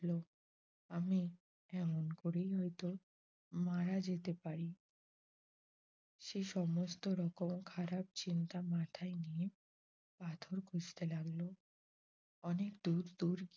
আমি এমন করেই হয়ত মারা যেতে পারি। সে সমস্ত রকম খারাপ চিন্তা মাথায় নিয়ে পাথর খুঁজতে লাগল অনেক দূর দূর